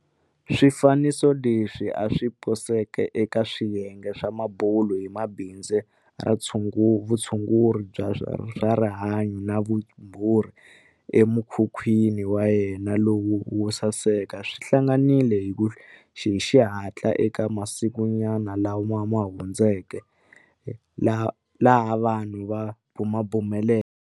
Swifaniso leswi a swi poseke eka swiyenge swa mabulu hi bindzu ra vutshunguri bya swa rihanyu na vumbhuri emukhukhwini wa yena lowu wo saseka swi hangalakile hi xihatla eka masikunyana lama hundzuke, laha vanhu va bumabumeleke